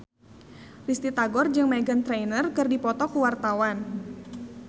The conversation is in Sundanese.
Risty Tagor jeung Meghan Trainor keur dipoto ku wartawan